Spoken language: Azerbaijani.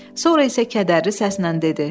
Sonra isə kədərli səslə dedi: